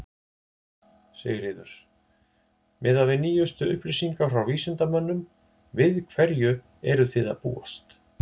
Sigríður: Miðað við nýjust upplýsingar frá vísindamönnum, við hverju eruð þið að búast?